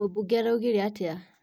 Mũbunge araugire atĩa?